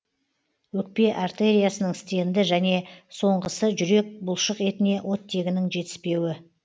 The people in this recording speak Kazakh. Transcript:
өкпе артериясының стенді және соңғысы жүрек бұлшықетіне оттегінің жетіспеуі